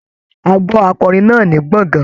A gbọ́ akọrin náà ní gbọ̀ngán.